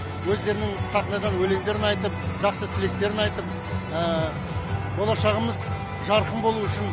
өздерінің сахнадан өлеңдерін айтып жақсы тілектерін айтып болашағымыз жарқын болуы үшін